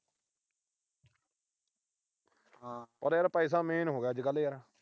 ਪਰ ਯਾਰ ਪੈਸਾ main ਹੋ ਗਿਆ ਅੱਜ-ਕੱਲ੍ਹ ਯਾਰ।